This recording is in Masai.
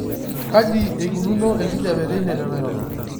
kejaa eneikununo enkijiape teine tenairobi